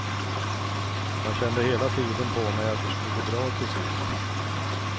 Jag kände hela tiden på mig att det skulle gå bra till sist.